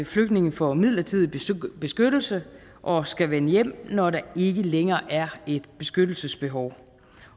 flygtninge får midlertidig beskyttelse og skal vende hjem når der ikke længere er et beskyttelsesbehov